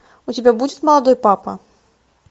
у тебя будет молодой папа